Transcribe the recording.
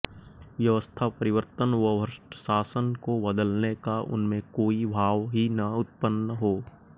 व्यवस्था परिर्वतन व भ्रष्ट शासन को बदलने का उनमें कोई भाव ही न उत्पन्न हो